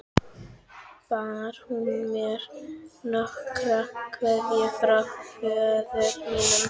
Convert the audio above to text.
Bar hann mér nokkra kveðju frá föður mínum?